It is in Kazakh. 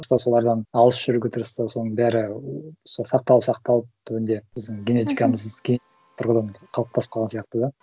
солардан алыс жүруге тырысты соның бәрі сақталып сақталып түбінде біздің генетикамызға тұрғыдан қалыптасып қалған сияқты да